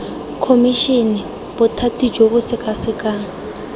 khomišene bothati jo bo sekasekang